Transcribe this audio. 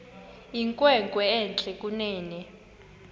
inkwenkwe entle kunene